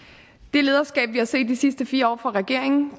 det lederskab vi har set de sidste fire år fra regeringens